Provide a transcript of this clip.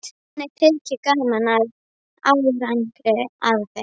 Henni þyki gaman að sjá árangur af þeim.